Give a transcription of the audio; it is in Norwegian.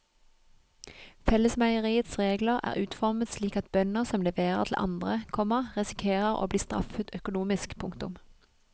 Fellesmeieriets regler er utformet slik at bønder som leverer til andre, komma risikerer å bli straffet økonomisk. punktum